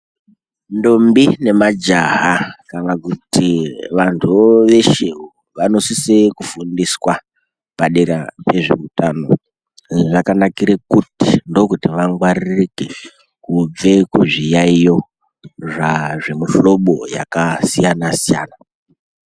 Ntombi nemajaha kana kuti vantuwo veshewo vanosise kufundiswa padera pezveutano zvakanakire kuti dhokodheya vangwaririke kubve kuzviyaiyo zvazvemuhlobo yakasiyana siyana .